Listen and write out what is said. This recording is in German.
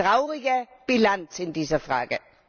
Eine traurige Bilanz in dieser Frage.